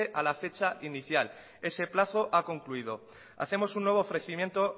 a la fecha inicial ese plazo ha concluido hacemos un nuevo ofrecimiento